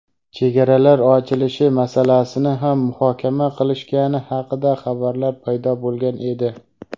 chegaralar ochilishi masalasini ham muhokama qilishgani haqida xabarlar paydo bo‘lgan edi.